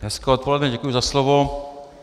Hezké odpoledne, děkuji za slovo.